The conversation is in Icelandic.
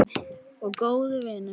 Og góður vinur.